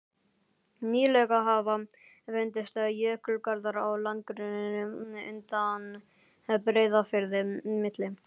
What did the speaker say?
Nýlega hafa fundist jökulgarðar á landgrunninu undan Breiðafirði, milli